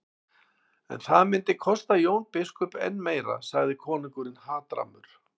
En það myndi kosta Jón biskup enn meira, sagði konungur hatrammur.